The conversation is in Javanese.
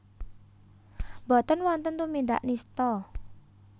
Boten wonten tumindak nistha